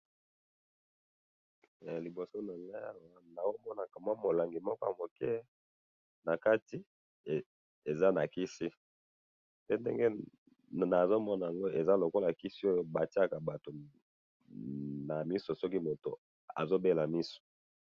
Na moni liboso na nga kisi ya pharmacie.